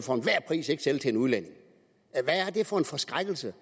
sælges til en udlænding hvad er det for en forskrækkelse